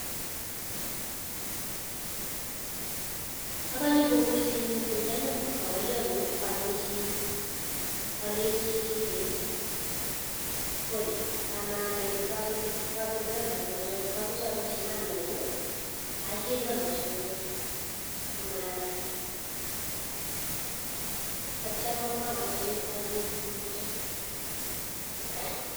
Akanyee kokur simeeet AK nyanam. magariat ilenjii eeeeee (pole) kamanai